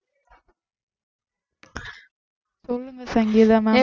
சொல்லுங்க சங்கீதா